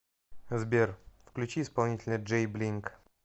сбер включи исполнителя джей блинг